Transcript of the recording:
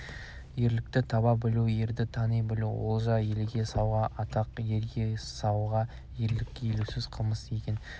ерлікті таба білу ерді тани білу олжа елге сауға атақ ерге сауға ерлік елеусіз қалмасын деген